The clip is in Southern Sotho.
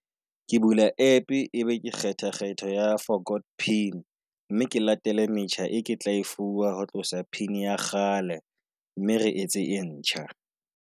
Ke bula app e be ke kgetha kgetho ya forgot pin. Mme ke latele metjha e ke tla e fuwa ho tlosa pin ya kgale, mme re etse e ntjha.